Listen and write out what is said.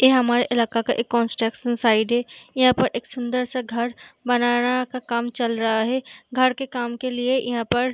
यह हमारे इलाके का एक कौंस्ट्रक्शन साइट है यहाँ पर एक सुन्दर सा घर बनाना का काम चल रहा है घर के काम के लिए यहाँ पर --